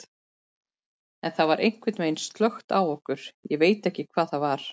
En það var einhvern veginn slökkt á okkur, ég veit ekki hvað það var.